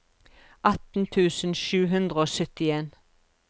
atten tusen sju hundre og syttien